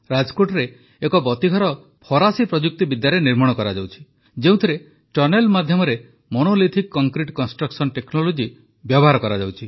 ରାଜକୋଟରେ ଏକ ବତିଘର ଫରାସୀ ପ୍ରଯୁକ୍ତିବିଦ୍ୟାରେ ନିର୍ମାଣ କରାଯାଉଛି ଯେଉଁଥିରେ ଟନେଲ ମାଧ୍ୟମରେ ମନୋଲିଥିକ୍ କଂକ୍ରିଟ୍ କନଷ୍ଟ୍ରକ୍ସନ ଟେକ୍ନୋଲୋଜି ବ୍ୟବହାର କରାଯାଉଛି